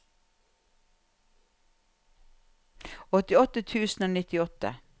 åtti tusen og nittiåtte